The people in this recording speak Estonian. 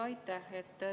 Aitäh!